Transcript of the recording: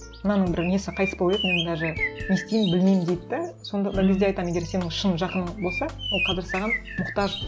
мынаның бір несі қайтыс болып еді мен даже не істеймін білмеймін дейді де сонда да кезде айтамын егер сенің шын жақының болсаң ол қазір саған мұқтаж